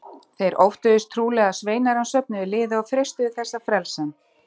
Þeir óttuðust trúlega að sveinar hans söfnuðu liði og freistuðu þess að frelsa hann.